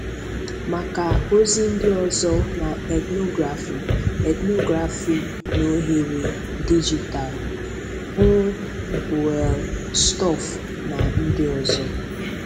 Maka ozi ndị ọzọ na ethnography ethnography na oghere dijitalụ, hụ Boellstorff na ndị ọzọ.